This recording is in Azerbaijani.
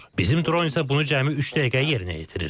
Bizim dron isə bunu cəmi üç dəqiqəyə yerinə yetirir.